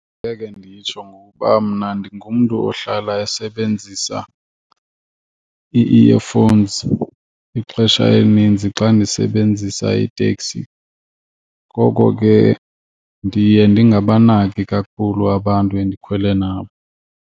Ngeke nditsho ngokuba mna ndingumntu ohlala esebenzisa ii-earphones ixesha elininzi xa ndisebenzisa itekisi, ngoko ke ndiye ndingabanaki kakhulu abantu endikhwele nabo.